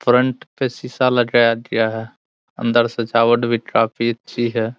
Front पे शीशा लगाया गया है। अंदर सजावट भी काफी अच्छी है।